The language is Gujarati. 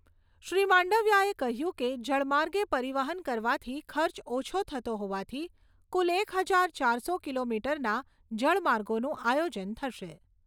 શ્રી માંડવીયાએ કહ્યું કે, જળ માર્ગે પરિવહન કરવાથી ખર્ચ ઓછો થતો હોવાથી કુલ એક હજાર ચારસો કિલોમીટરના જળમાર્ગોનું આયોજન થશે.